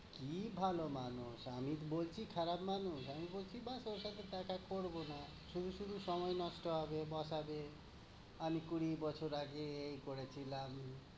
কি ভালো মানুষ, আমি বলছি খারাপ মানুষ? আমি বলছি bass আমি ওর সাথে দেখা করবো না। শুধু শুধু সময় নষ্ট হবে, কথা হবে। আমি কুড়ি বছর আগে এই করেছিলাম